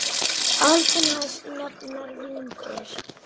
Aldin hans nefnast vínber.